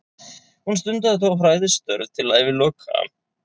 Hún stundaði þó fræðistörf til æviloka.